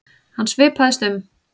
Hann svipaðist um.